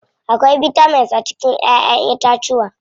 Akwai bitamins a cikin ƴaƴen itacuwa.